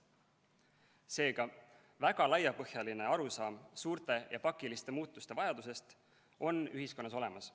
Seega, väga laiapõhjaline arusaam suurte ja pakiliste muutuste vajadusest on ühiskonnas olemas.